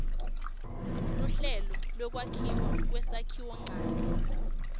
luhlelo lwekwakhiwa kwesakhiwonchanti